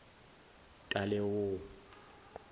talewo